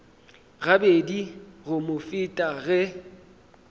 gabedi go mo feta ge